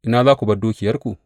Ina za ku bar dukiyarku?